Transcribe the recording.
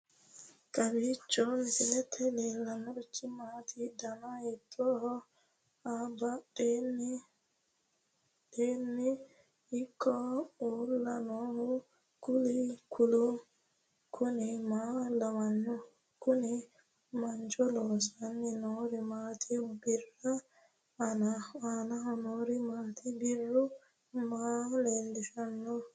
kowiicho misilete leellanorichi maati ? dana hiittooho ?abadhhenni ikko uulla noohu kuulu kuni maa lawannoho? kuni mancho loossanni noori maati birru aanaho noori maati borro maa lellishshannote